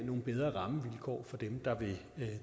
nogle bedre rammevilkår for dem der vil